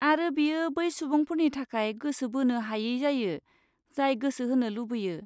आरो बेयो बै सुबुंफोरनि थाखाय गोसो बोनो हायै जायो, जाय गोसो होनो लुबैयो।